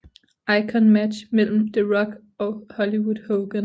Icon Match mellem The Rock og Hollywood Hogan